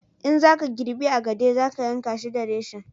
in za ka girbi agade za ka yanka shi da reshen